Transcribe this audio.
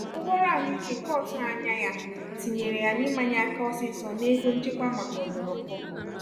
ụgwọ ọrụ ahụike nke otughi anya ya tinyere ya n'imanye aka ọsịsọ n'ego nchekwa maka ọdụrụkụọ.